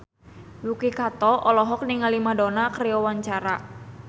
Yuki Kato olohok ningali Madonna keur diwawancara